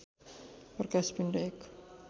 प्रकाश पिण्ड एक